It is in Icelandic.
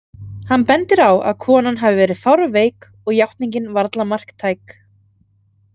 Hann bendir á að konan hafi verið fárveik og játningin varla marktæk.